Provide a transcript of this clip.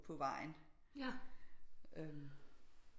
På vejen øh